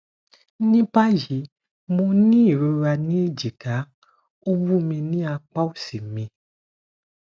ní báyìí mo ní ìrora ní ejika ó wúmi ní apa osi mi